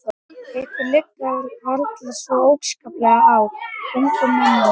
Ykkur liggur varla svo óskaplega á, ungum mönnunum.